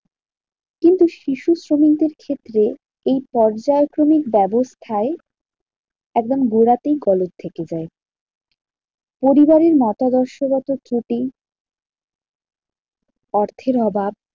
কিন্তু শিশু শ্রমিকের ক্ষেত্রে এই পর্যায়ক্রমিক ব্যাবস্থায় একদম গোড়াতেই গলত থেকে যায়। পরিবারের মতাদর্শ গত ত্রুটি, অর্থের অভাব,